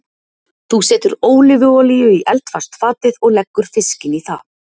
Þú setur ólífuolíu í eldfast fatið og leggur fiskinn í það.